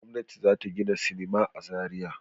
Gwamnati za ta gina sinima a Zariya.